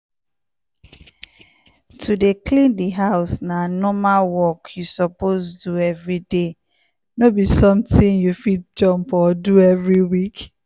to dey clean di house na normal work you suppose do every day no be something you fit jump or do every week.